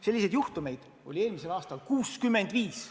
Selliseid juhtumeid oli eelmisel aastal 65.